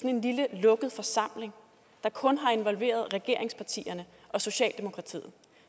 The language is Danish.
en lille lukket forsamling der kun har involveret regeringspartierne og socialdemokratiet